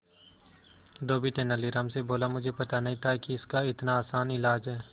धोबी तेनालीराम से बोला मुझे पता नहीं था कि इसका इतना आसान इलाज है